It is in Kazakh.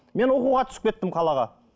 мен оқуға түсіп кеттім қалаға